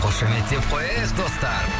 қошеметтіп қояйық достар